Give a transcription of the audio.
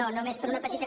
no només per una petita